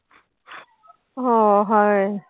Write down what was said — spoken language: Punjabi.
ਹਾਂ ਹਾਏ।